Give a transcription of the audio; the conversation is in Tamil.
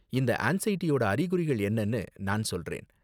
இந்த ஆன்ஸைடியோட அறிகுறிகள் என்னென்னனு நான் சொல்றேன்.